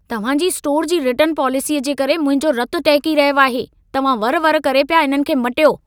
तव्हां जी स्टोर जी रिटर्न पॉलिसीअ जे करे मुंहिंजो रत टहिकी रहियो आहे। तव्हां वरि-वरि करे पिया इन्हनि खे मटियो।